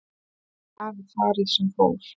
Því hafi farið sem fór